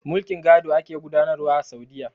Mulkin gado ake gudanar wa a Saudiyya.